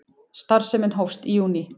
Starfsemin hófst í júní